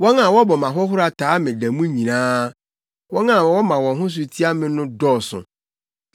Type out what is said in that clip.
Wɔn a wɔbɔ me ahohora taa me da mu nyinaa; wɔn a wɔma wɔn ho so tia me no dɔɔso.